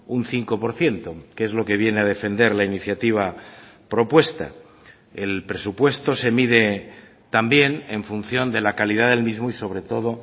un cinco por ciento que es lo que viene a defender la iniciativa propuesta el presupuesto se mide también en función de la calidad del mismo y sobre todo